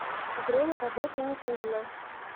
время работы никулино